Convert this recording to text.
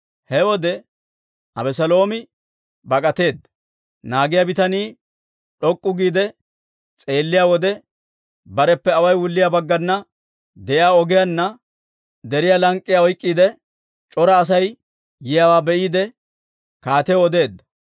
He wode Abeseeloomi bak'ateedda. Naagiyaa bitanii d'ok'k'u giide s'eelliyaa wode, bareppe away wulliyaa baggana de'iyaa ogiyaanna deriyaa lank'k'iyaa oyk'k'iide, c'ora Asay yiyaawaa be'iide kaatiyaw odeedda.